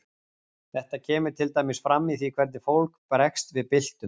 þetta kemur til dæmis fram í því hvernig fólk bregst við byltum